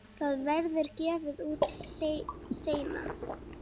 Það verður gefið út seinna.